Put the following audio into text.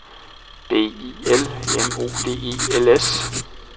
B I L M O D E L S